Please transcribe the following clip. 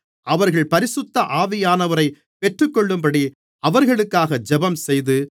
அவர்கள் பரிசுத்த ஆவியானவரைப் பெற்றுக்கொள்ளும்படி அவர்களுக்காக ஜெபம்செய்து